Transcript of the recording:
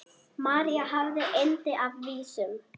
María hafði yndi af vísum.